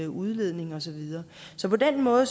udledning og så videre så på den måde